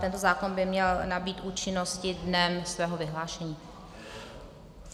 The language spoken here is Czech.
Tento zákon by měl nabýt účinnosti dnem svého vyhlášení.